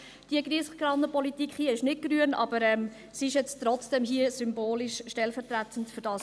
Diese Giesskannenpolitik hier ist nicht grün, aber sie ist jetzt trotzdem hier symbolisch, stellvertretend dafür da.